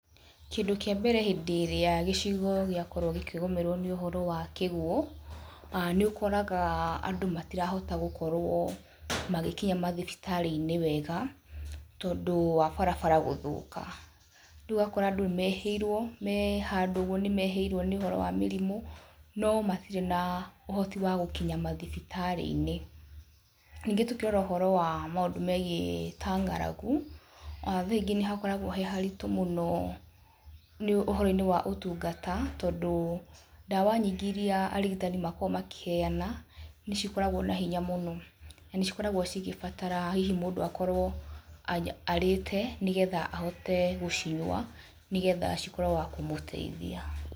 Kĩndũ kĩambere hĩndĩ ĩrĩa gĩcigo gĩakorwo gĩkĩgũmĩrwo nĩ ũhoro wa kĩguũ, nĩũkoraga andũ matirahota gũkorwo magĩkinya mathibitarĩ-inĩ wega tondũ wa barabara gũthũka. Rĩu ũgakora andũ mehĩirwo, me handũ ũguo nĩ mehĩirwo nĩ ũhoro wa mĩrimũ no matirĩ na ũhoti wa gũkinya mathibitarĩ-inĩ. Ningĩ tũkĩrora ũhoro wa maũndũ megiĩ ta ng'aragu, thaa ingĩ nĩhakoragwo he haritũ mũno ũhoro-inĩ wa ũtungata tondũ ndawa nyingĩ iria arigitani makoragwo makĩheana nĩ cikoragwo na hinya mũno na nĩ cikoragwo cigĩbataraga hihi mũndũ akorwo arĩte nĩgetha ahote gũcinyua nĩgetha cikorwo wa kũmũteithia.